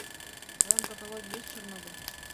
в твоем каталоге есть чернобыль